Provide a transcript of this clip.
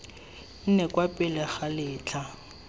nne kwa pele ga letlha